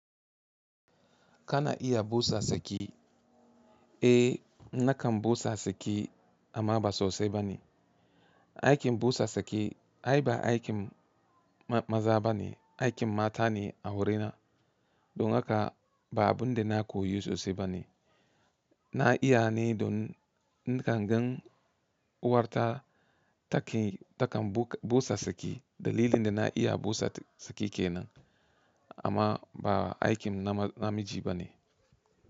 Kana iya busa saki? Eh nakan busa saki amma ba sosai bane. Aikin busa saki ai ba aikin maza bane aikin mata ne a wurina. Don haka ba abun da na koyi sosai bane. Na iya ne don nakan gan uwarta takan busa saki. Dalilin da na iya busa saki kenan amma ba aikin namiji bane.